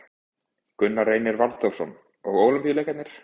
Gunnar Reynir Valþórsson: Og Ólympíuleikarnir?